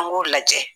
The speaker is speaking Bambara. An b'o lajɛ